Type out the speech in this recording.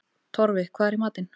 Torfi, hvað er í matinn?